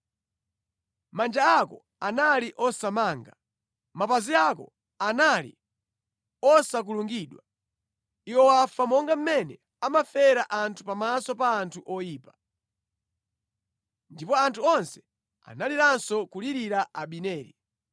Manja ako anali osamanga, mapazi ako anali osakulungidwa. Iwe wafa monga mmene amafera anthu pamaso pa anthu oyipa.” Ndipo anthu onse analiranso kulirira Abineri.